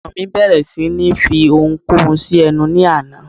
Ọmọ mí bẹ̀rẹ̀ sí ní fi oun kóun sí ẹnu ní àná